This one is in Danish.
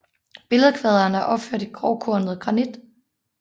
Billedkvaderen er opført i grovkornet granit